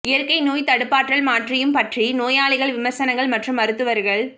இயற்கை நோய் தடுப்பாற்றல் மாற்றியும் பற்றி நோயாளிகள் விமர்சனங்கள் மற்றும் மருத்துவர்கள்